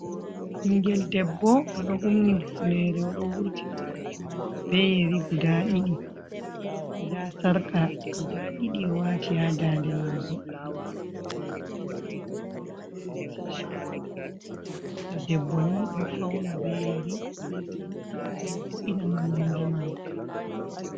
Bingel ɗebbo oɗo humni hufnere, oɗo wurtini nopti mako beyeri guɗa Ɗiɗi. Ɗa sarka guɗa ɗɗii oɗo wati ya ɗaɗe mako. Amma be hollai gite mako. Oɗo borni tishet biɗɗo ɗebboni ɗo fauna beyeri l,be sarka ngam vo’ina mon nonɗe mako.